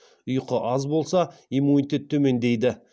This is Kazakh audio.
ұйқы аз болса иммунитет төмендейді